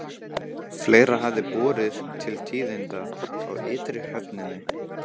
Fleira hafði borið til tíðinda á ytri höfninni.